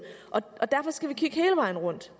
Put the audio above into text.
derfor skal vi kigge hele vejen rundt